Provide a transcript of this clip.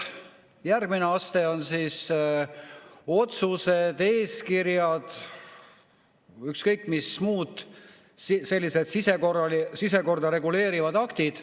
Järgmine aste on otsused, eeskirjad – igasugused muud sellised sisekorda reguleerivad aktid.